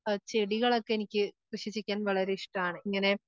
ആഹ് ചെടികളൊക്കെ എനിക്ക് കൃഷി